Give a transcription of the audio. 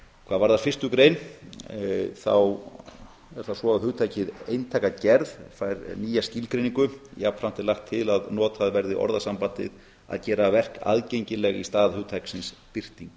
hvað varðar fyrstu grein er það svo að hugtakið eintakagerð fær nýja skilgreiningu jafnframt er lagt til að notað verði orðasambandið að gera verk aðgengileg í stað hugtaksins birting